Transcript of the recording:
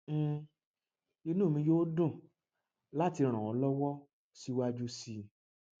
um inú mi yóò dùn láti ràn ọ lọwọ síwájú sí i